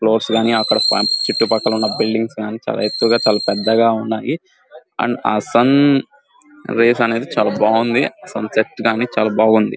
Floors కానీ చుట్టుపక్కల ఉన్న బిల్డింగ్స్ కానీ చాలా ఎత్తుగా చాల పెద్దగా ఉన్నాయి అండ్ సన్ రేస్ అనేది చాలా బాగుంది సన్ సెట్ కానీ చాలా బాగుంది.